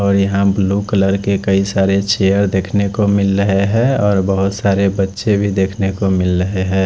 और यहां blue colour के कई सारे चेयर देखने को मिल रहे है और बहोत सारे बच्चे भी देखने को मिल रहे है।